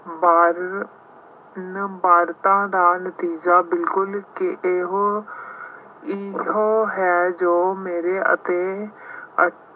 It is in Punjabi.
ਬਾ੍ਰੰ ਬਾਰਤਾ ਦਾ ਨਤੀਜਾ ਬਿਲਕੁੱਲ ਕਿ ਇਹੋ ਇਹ ਹੈ ਜੋ ਮੇਰੇ ਅਤੇ